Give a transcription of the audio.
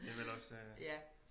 Det er vel også øh